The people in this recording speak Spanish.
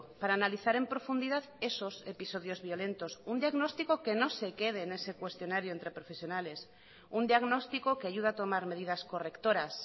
para analizar en profundidad esos episodios violentos un diagnóstico que no se quede en ese cuestionario entre profesionales un diagnóstico que ayuda a tomar medidas correctoras